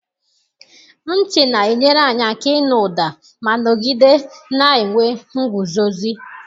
Ntị na-enyere anyị aka ịnụ ụda ma nọgide na-enwe nguzozi.